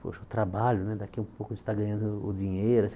Poxa, o trabalho né, daqui a um pouco você está ganhando o dinheiro.